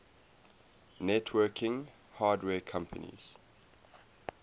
networking hardware companies